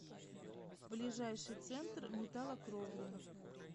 ближайший центр металлокровли